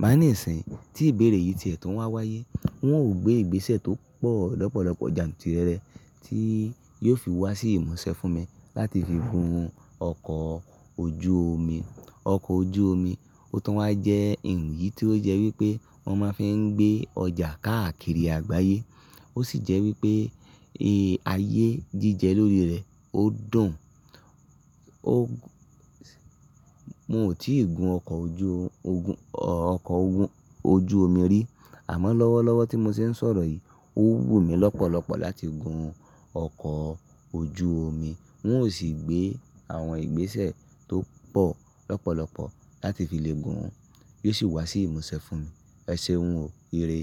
Bá níìsín, tí ìbéèrè yìí ti ẹ̀tọ́ wá wáyé, wọn ó gbé ìgbésẹ̀ tó pọ̀ lọ́pọ̀lọpọ̀ jantirere tí yóò fi wá sí ìmúṣẹ fún mi láti fi gun ọkọ̀ ojú omi. Ọkọ̀ ojú omi, ó tọ́ wa jẹ́ ǹkan yìí tí ó jẹ́ wípé wọ́n máa ń fi ń gbé ọjà káàkiri àgbáyé. Ó sì jẹ́ wípé ayé jíjẹ lórí rẹ̀, ó dùn. Mo ò tí ì gun ọkọ̀ ojú omi rí. Àmọ́ lọ́wọ́lọ́wọ́ tí mo ṣe ń sọ̀rọ̀ yìí, ó wù mí lọ́pọ̀lọpọ̀ láti gun ọkọ̀ ojú omi. Wọn ó sì gbé àwọn ìgbésẹ̀ tó pọ̀ lọ́pọ̀lọpọ̀ láti fi lè gun, yóò sì wá sí ìmúṣẹ fún mi. Ẹ ṣeun o, ire.